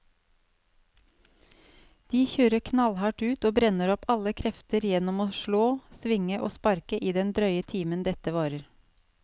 De kjører knallhardt ut og brenner opp alle krefter gjennom å slå, svinge og sparke i den drøye timen dette varer.